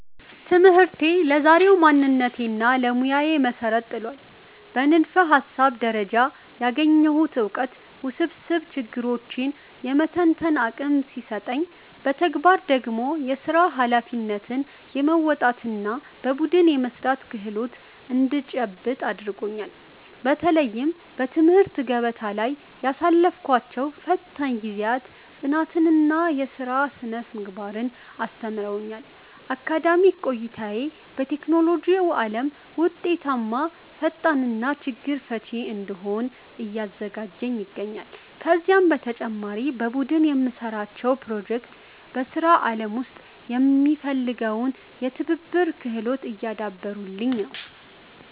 ትምህርቴ ለዛሬው ማንነቴና ለሙያዬ መሠረት ጥሏል። በንድፈ-ሐሳብ ደረጃ ያገኘሁት ዕውቀት ውስብስብ ችግሮችን የመተንተን አቅም ሲሰጠኝ፣ በተግባር ደግሞ የሥራ ኃላፊነትን የመወጣትና በቡድን የመሥራት ክህሎት እንድጨብጥ አድርጎኛል። በተለይም በትምህርት ገበታ ላይ ያሳለፍኳቸው ፈታኝ ጊዜያት ጽናትንና የሥራ ሥነ-ምግባርን አስተምረውኛል። አካዳሚክ ቆይታዬ በቴክኖሎጂው ዓለም ውጤታማ ፈጣሪና ችግር ፈቺ እንድሆን እያዘጋጀኝ ይገኛል። ከዚህም በተጨማሪ በቡድን የምንሠራቸው ፕሮጀክቶች በሥራ ዓለም ውስጥ የሚፈለገውን የትብብር ክህሎት እያዳበሩልኝ ነው።